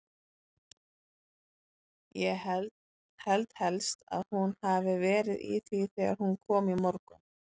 Ég held helst að hún hafi verið í því þegar hún kom í morgun.